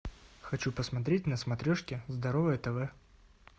хочу посмотреть на смотрешке здоровое тв